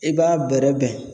I b'a bɛrɛbɛn